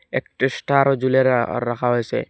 একটা স্টার ও আর রাখা হয়ছে।